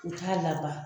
U k'a laban